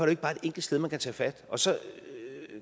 ikke bare et enkelt sted man kan tage fat så